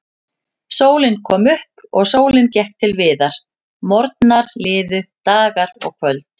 Sólin kom upp og sólin gekk til viðar, morgnar liðu, dagar og kvöld.